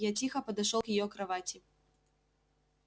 я тихо подошёл к её кровати